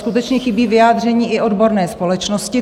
Skutečně chybí vyjádření i odborné společnosti.